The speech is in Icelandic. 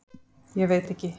Ég veit ekki.